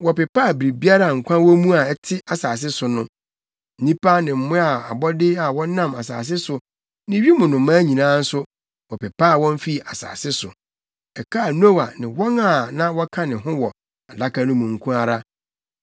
Wɔpepaa biribiara a nkwa wɔ mu a ɛte asase so no. Nnipa ne mmoa ne abɔde a wɔnam asase so ne wim nnomaa nyinaa nso wɔpepaa wɔn fii asase so. Ɛkaa Noa ne wɔn a na wɔka ne ho wɔ adaka no mu no nko ara.